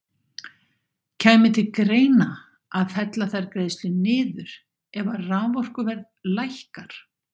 Kæmi til greina að fella þær greiðslur niður ef að raforkuverð lækkar?